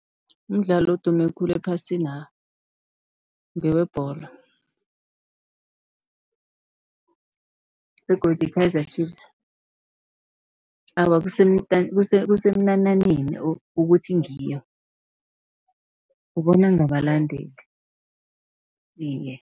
Umdlalo odume khulu ephasina' ngewebholo. Begodu i-Kaizer Chiefs awa kusemnananeni ukuthi ngiyo ubona ngabalandeli iye.